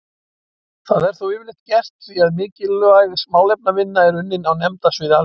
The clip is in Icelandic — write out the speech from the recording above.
Það er þó yfirleitt gert því að mikilvæg málefnavinna er unninn á nefndasviði Alþingis.